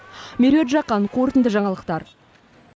меруерт жақан қорытынды жаңалықтар